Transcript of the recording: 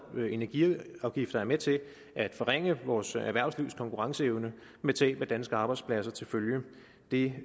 energiafgifter er med til at forringe vores erhvervslivs konkurrenceevne med tab af danske arbejdspladser til følge det